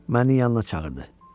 Məni yanına çağırdı.